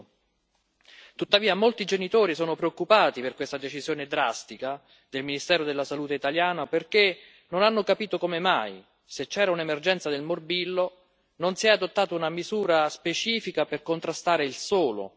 Tuttavia molti genitori sono preoccupati per questa decisione drastica del ministero della Salute italiano perché non hanno capito come mai, se c'era un'emergenza per il morbillo, non si è adottata una misura specifica per contrastare il solo morbillo.